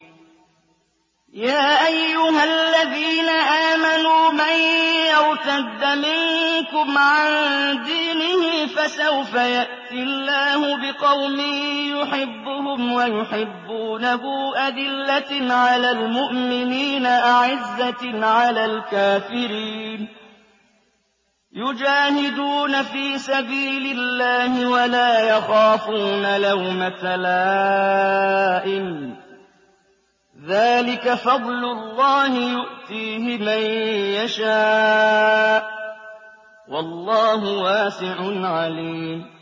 يَا أَيُّهَا الَّذِينَ آمَنُوا مَن يَرْتَدَّ مِنكُمْ عَن دِينِهِ فَسَوْفَ يَأْتِي اللَّهُ بِقَوْمٍ يُحِبُّهُمْ وَيُحِبُّونَهُ أَذِلَّةٍ عَلَى الْمُؤْمِنِينَ أَعِزَّةٍ عَلَى الْكَافِرِينَ يُجَاهِدُونَ فِي سَبِيلِ اللَّهِ وَلَا يَخَافُونَ لَوْمَةَ لَائِمٍ ۚ ذَٰلِكَ فَضْلُ اللَّهِ يُؤْتِيهِ مَن يَشَاءُ ۚ وَاللَّهُ وَاسِعٌ عَلِيمٌ